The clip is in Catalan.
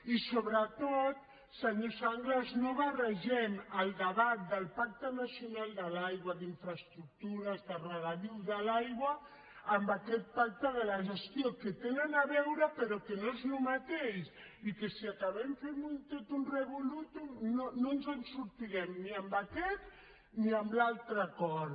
i sobretot senyor sanglas no barregem el debat del pacte nacional de l’aigua d’infraestructures de regadius de l’aigua amb aquest pacte de la gestió que hi tenen a veure però que no és el mateix i si acabem fent un totum amb aquest ni amb l’altre acord